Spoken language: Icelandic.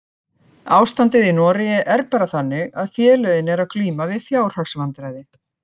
Ástandið í Noregi er bara þannig að félögin eru að glíma við fjárhagsvandræði.